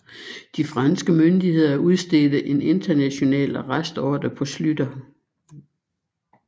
De franske myndigheder udstedte en international arrestordre på Schlüter